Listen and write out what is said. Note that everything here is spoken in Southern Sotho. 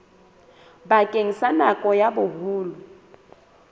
bakeng sa nako ya boholo